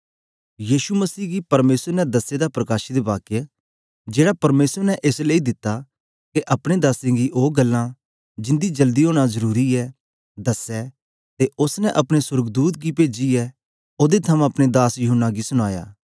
यीशु मसीह गी परमेसर ने दसे दा प्रकाशितवाक्य जेड़ा परमेसर ने एस लेई दिता के अपने दासें गी ओ गल्लां जिंदा जल्दी ओना जरुरी ऐ दस्सै ते ओस्स ने अपने सोर्गदूत गी पेजीयै ओदे थमां अपने दास यूहन्ना गी सुनाया